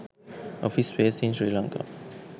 office space in sri lanka